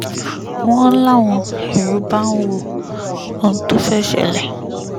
n láwọn èrò bá ń wo ohun tó fẹ́ẹ́ ṣẹlẹ̀